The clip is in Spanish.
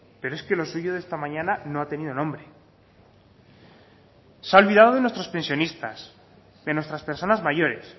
pero es que lo suyo de esta mañana no ha tenido nombre se ha olvidado de nuestros pensionistas de nuestras personas mayores